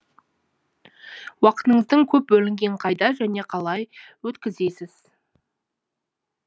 уақытыңыздың көп бөлінген қайда және қалай өткізесіз